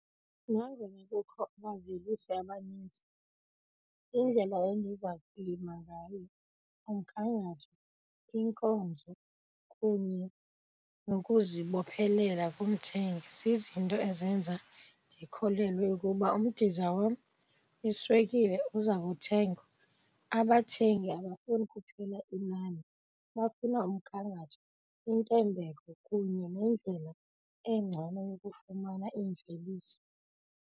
Nangona kukho abavelisi abanintsi, indlela endiza kulima ngayo, umgangatho, iinkonzo kunye nokuzibophelela kumthengi zizinto ezenza ndikholelwe ukuba umdiza wam iswekile uza kuthengwa. Abathengi abafuni kuphela inani bafuna umgangatho, intembeko kunye nendlela engcono yokufumana imveliso.